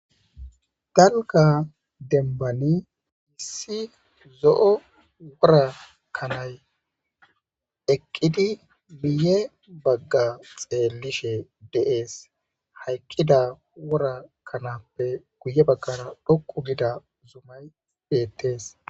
Darokka dembbani issi zo'o woora kanay eqqidii miiyye bagga xeellishe de'ees hayqqida woora kanappe guye baggara dhoqqu gida zumay bettees